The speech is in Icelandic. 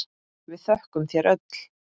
Við þökkum þér öll.